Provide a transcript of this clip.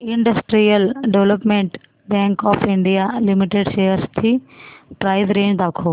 industrial development bank of India limited shares ची price range दाखव